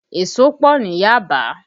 Èso pọ ní Yaba